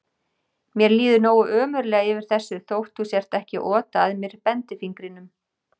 Mér líður nógu ömurlega yfir þessu þótt þú sért ekki að ota að mér bendifingrinum.